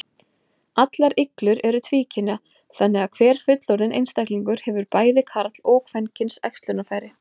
Allar iglur eru tvíkynja, þannig að hver fullorðinn einstaklingur hefur bæði karl- og kvenkyns æxlunarfæri.